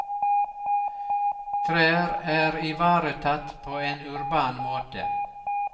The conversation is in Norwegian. Trær er ivaretatt på en urban måte.